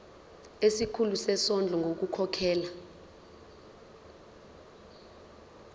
kusikhulu sezondlo ngokukhokhela